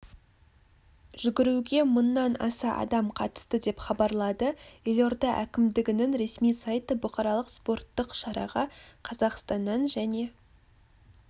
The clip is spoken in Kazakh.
жүгіруге мыңнан аса адам қатысты деп хабарлады елорда әкімдігінің ресми сайты бұқаралық спорттық шараға қазақстаннан және